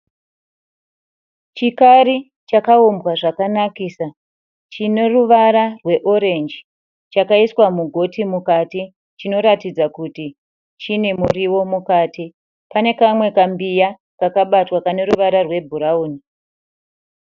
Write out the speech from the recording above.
Chikari chakaumbwa zvakanakisa chineruvara rweorenji chakaiswa mugoti mukati. Chinoratidza kuti chine muriwo mukati. Pane kamwe kambiya kakabatwa kaneruvara rwebhurauni.